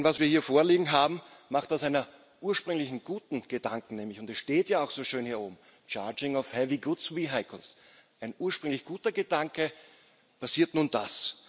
Denn das, was wir hier vorliegen haben, macht aus einem ursprünglich guten Gedanken und es steht ja auch so schön hier oben ein ursprünglich guter Gedanke nun passiert das.